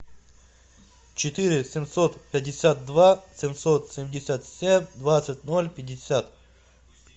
четыре семьсот пятьдесят два семьсот семьдесят семь двадцать ноль пятьдесят